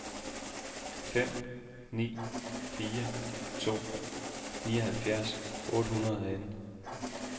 fem ni fire to nioghalvfjerds otte hundrede og atten